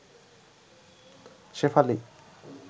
Shefali